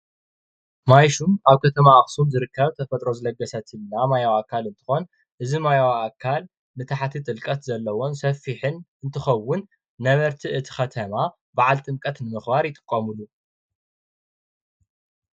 ማይሹም ኣብ ከተማ ኣክሱም ዝርከብ ተፈጥሮ ዝለገሰትላ ማያዊ ኣካል እንትኮን እዚ ማያዊ ኣካል ዝተሓተ ጥልቀት ዘለዎን ሰፊሕን እንትከውን ነበርቲ እቲ ከተማ በዓል ጥምቀት ንምክባር ይጥቀምሉ፡፡